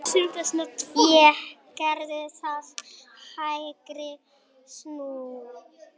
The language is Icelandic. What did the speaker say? Ég gerði það, hægri snú.